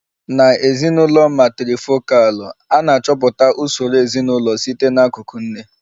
Na ezinụlọ matrifokalụ, a na-achọpụta usoro ezinụlọ site n'akụkụ nne